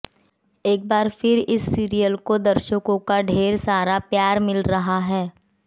एक बार फिर इस सीरियल को दर्शकों का ढेर सारा प्यार मिल रहा है